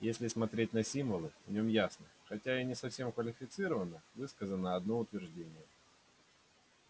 если смотреть на символы в нем ясно хотя и не совсем квалифицированно высказано одно утверждение